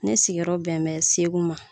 Ne sigiyɔrɔ bɛnbɛn Segu ma.